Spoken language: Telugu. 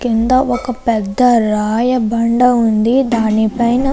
కింద ఒక పెద్ద రాయ బండ ఉంది దాని పైన --